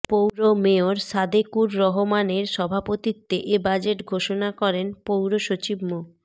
পৌর মেয়র সাদেকুর রহমানের সভাপতিত্বে এ বাজেট ঘোষণা করেন পৌর সচিব মো